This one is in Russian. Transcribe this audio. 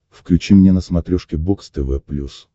включи мне на смотрешке бокс тв плюс